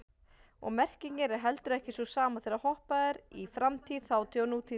Og merkingin er heldur ekki sú sama þegar hoppað er í framtíð, þátíð og nútíð.